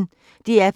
DR P1